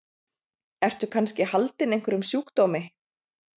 Ertu kannski haldinn einhverjum sjúkdómi?